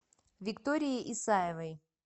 виктории исаевой